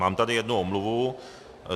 Mám tady jednu omluvu.